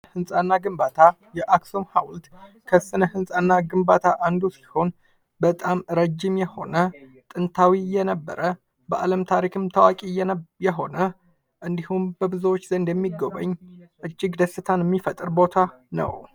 ህንፃ እና ግንባታ የአክሱም ሐውልት ከሥነ ህንጻና ግንባታ አንዱ ሲሆን ፤ በጣም ረዥም የሆነ ጥንታዊ የነበረ በዓለም ታሪክም ታዋቂ የሆነ እንዲሁም፤ በብዙዎች ዘንድ የሚጎበኝ እጅግ ደስታንም የሚፈጥር ቦታ ነው።